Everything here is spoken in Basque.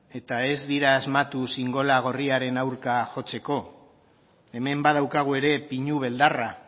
eta ez dira asmatu xingola gorriaren aurka jotzeko hemen badaukagu ere pinu beldarra